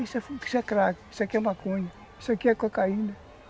Isso aqui é crack, isso aqui é maconha, isso aqui é cocaína.